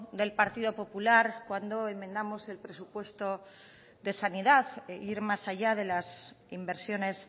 del partido popular cuando enmendamos el presupuesto de sanidad ir más allá de las inversiones